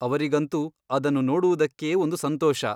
ಅವರಿಗಂತೂ ಅದನ್ನು ನೋಡುವುದಕ್ಕೇ ಒಂದು ಸಂತೋಷ.